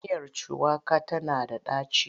Miyar shuwaka tana da ɗaci.